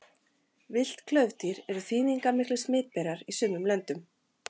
Villt klaufdýr eru þýðingarmiklir smitberar í sumum löndum.